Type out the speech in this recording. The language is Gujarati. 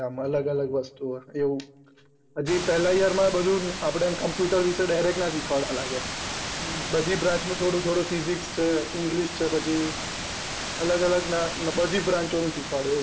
આમ અલગ અલગ વસ્તુઓ હજી પેહલા year માં બધું અપડને computer વિશે direct ના શીખવાડવા ના લાગે બધી branch નું થોડું થોડું physics છે english છે પછી બધી અલગ અલગ branch નું શીખવાડે.